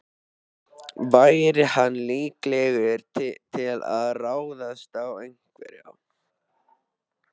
Væri hann líklegur til að ráðast á einhvern?